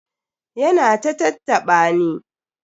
Ya na ta tattaɓa ni.